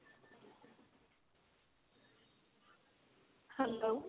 hello